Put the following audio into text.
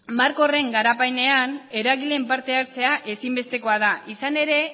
marko horren garapenean eragileen partehartzea ezinbestekoa da izan ere